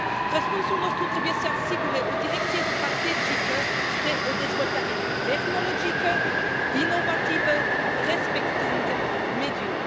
Răspunsul nostru trebuie să asigure o direcție strategică spre o dezvoltare tehnologică inovativă respectând mediul.